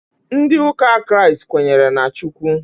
Ndị ụka Kraịst kwenyere na Chukwu